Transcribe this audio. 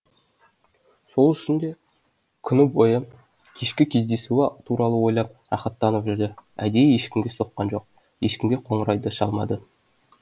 сол үшін де күні бойы кешкі кездесуі туралы ойлап рахаттанып жүрді әдейі ешкімге соққан жоқ ешкімге қоңырау да шалмады